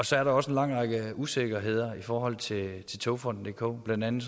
så er der også en lang række usikkerheder i forhold til togfonden dk blandt andet